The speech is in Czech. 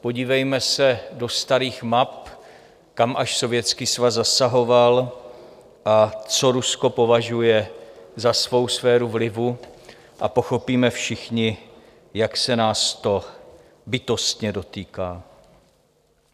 Podívejme se do starých map, kam až Sovětský svaz zasahoval a co Rusko považuje za svou sféru vlivu, a pochopíme všichni, jak se nás to bytostně dotýká.